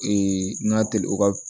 n ka teli o ka